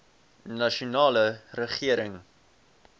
nasionale regering